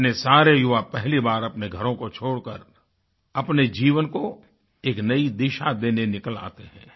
इतने सारे युवा पहली बार अपने घरों को छोड़कर अपने जीवन को एक नयी दिशा देने निकल आते हैं